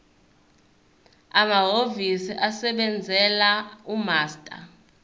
amahhovisi asebenzela umaster